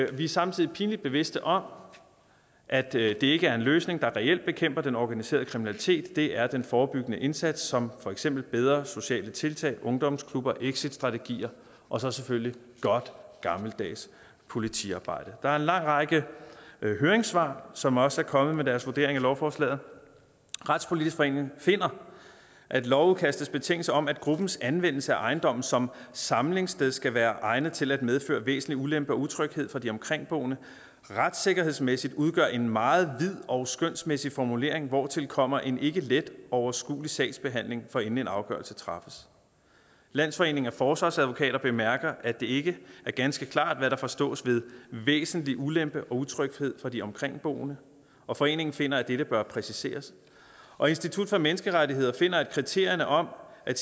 vi er samtidig pinligt bevidste om at det ikke er en løsning der reelt bekæmper den organiserede kriminalitet det er den forebyggende indsats som for eksempel bedre sociale tiltag ungdomsklubber exitstrategier og så selvfølgelig godt gammeldags politiarbejde der er en lang række høringssvar som også er kommet med deres vurdering af lovforslaget retspolitisk forening finder at lovudkastets betingelse om at gruppens anvendelse af ejendommen som samlingssted skal være egnet til at medføre væsentlig ulempe og utryghed for de omkringboende retssikkerhedsmæssigt udgør en meget vid og skønsmæssig formulering hvortil kommer en ikke let overskuelig sagsbehandling forinden en afgørelse træffes landsforeningen af forsvarsadvokater bemærker at det ikke er ganske klart hvad der forstås ved væsentlig ulempe og utryghed for de omkringboende og foreningen finder at dette bør præciseres og institut for menneskerettigheder finder at kriterierne om at